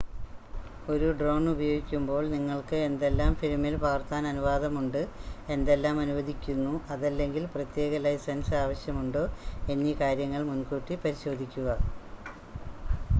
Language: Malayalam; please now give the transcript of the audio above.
ഒരു ഡ്രോൺ ഉപയോഗിക്കുമ്പോൾ നിങ്ങൾക്ക് എന്തെല്ലാം ഫിലിമിൽ പകർത്താൻ അനുവാദമുണ്ട് എന്തെല്ലാം അനുവദിക്കുന്നു അതല്ലെങ്കിൽ പ്രത്യേക ലൈസൻസ് ആവശ്യമുണ്ടോ എന്നീ കാര്യങ്ങൾ മുൻകൂട്ടി പരിശോധിക്കുക